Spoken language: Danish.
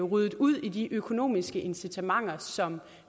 ryddet ud i de økonomiske incitamenter som